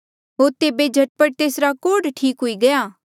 होर तेबे झट पट तेसरा कोढ़ ठीक हुई गया